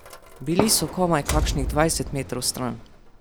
Bili so komaj kakšnih dvajset metrov stran.